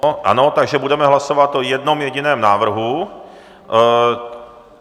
Ano, takže budeme hlasovat o jednom jediném návrhu.